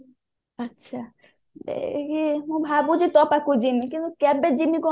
ଆଚ୍ଛା ଏଇ ହଁ ଭାବୁଛି ତୋ ପାଖକୁ ଯିବି ମୁ କିନ୍ତୁ କେବେ ଯିବି